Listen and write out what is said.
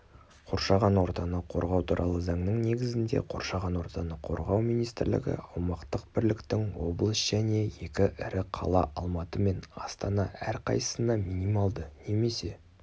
қоршаған ортаны қорғау туралы заңның негізінде қоршаған ортаны қорғау министрлігі аумақтық бірліктің облыс және екі ірі қала алматы мен астана әрқайсысына минималды немесе